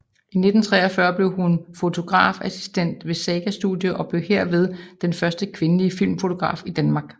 I 1943 blev hun fotografassistent ved Saga Studio og blev herved den første kvindelige filmfotograf i Danmark